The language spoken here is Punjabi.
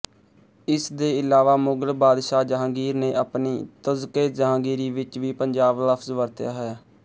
ਇਸ ਦੇ ਇਲਾਵਾ ਮੁਗ਼ਲ ਬਾਦਸ਼ਾਹ ਜਹਾਂਗੀਰ ਨੇ ਆਪਣੀ ਤਜ਼ਕਏਜਹਾਂਗੀਰੀ ਵਿੱਚ ਵੀ ਪੰਜਾਬ ਲਫ਼ਜ਼ ਵਰਤਿਆ ਹੈ